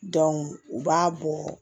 u b'a bɔ